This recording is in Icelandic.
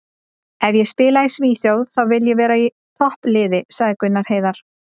Ef ég spila í Svíþjóð þá vil ég vera í toppliði, sagði Gunnar Heiðar.